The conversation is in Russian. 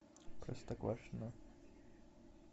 простоквашино